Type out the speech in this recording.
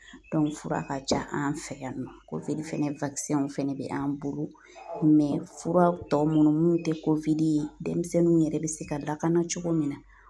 fura ka ca an fɛ yan nɔ fɛnɛ bɛ an bolo fura tɔ minnu tɛ ye denmisɛnninw yɛrɛ bɛ se ka lakana cogo min na